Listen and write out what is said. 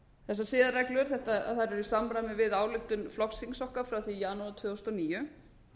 þessar siðareglur eru í samræmi við álit flokksþings okkar frá því í janúar tvö þúsund og níu